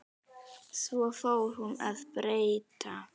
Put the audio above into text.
Svo fór hún að breyta.